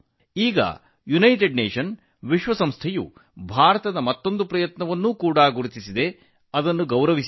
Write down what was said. ಇದೀಗ ವಿಶ್ವಸಂಸ್ಥೆಯು ಭಾರತದ ಮತ್ತೊಂದು ಪ್ರಯತ್ನವನ್ನು ಗುರುತಿಸಿ ಗೌರವಿಸಿದೆ